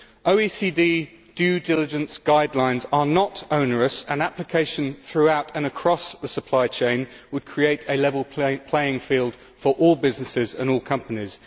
The OECD due diligence guidelines are not onerous, and application throughout and across the supply chain would create a level playing field for all businesses and all companies.